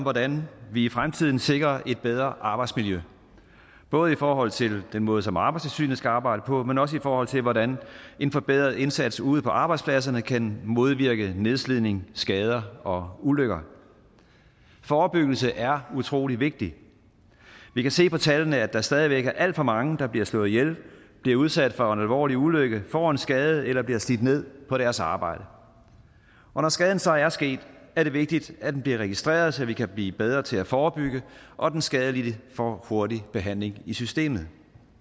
hvordan vi i fremtiden sikrer et bedre arbejdsmiljø både i forhold til den måde som arbejdstilsynet skal arbejde på men også i forhold til hvordan en forbedret indsats ude på arbejdspladserne kan modvirke nedslidning skader og ulykker forebyggelse er utrolig vigtigt vi kan se på tallene at der stadig væk er alt for mange der bliver slået ihjel bliver udsat for en alvorlig ulykke får en skade eller bliver slidt ned på deres arbejde og når skaden så er sket er det vigtigt at den bliver registreret så vi kan blive bedre til at forebygge og den skadelidte får en hurtig behandling i systemet